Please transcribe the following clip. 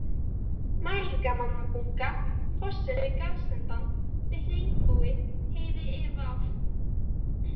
Mælingamannabunga, Fossinn við garðsendann, Litli Einbúi, Heiði IV